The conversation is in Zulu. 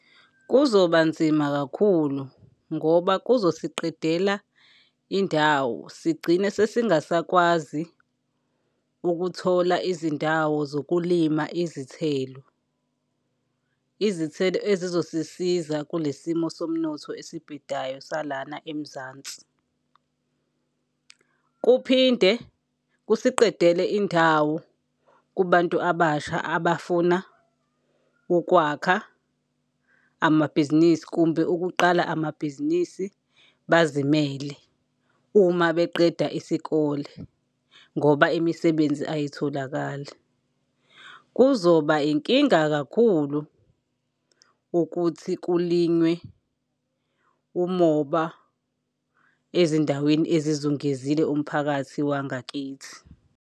Kuzoba nzima kakhulu ngoba kuzosiqedela indawo sigcine sesingasakwazi ukuthola izindawo zokulima izithelo, izithelo ezizosisiza kule simo somnotho esibhedayo salana eMzansi. Kuphinde kusiqedele indawo kubantu abasha abafuna ukwakha amabhizinisi kumbe ukuqala amabhizinisi bazimele, uma beqeda isikole ngoba imisebenzi ayitholakali. Kuzoba inkinga kakhulu ukuthi kulinywe umoba ezindaweni ezizungezile umphakathi wangakithi.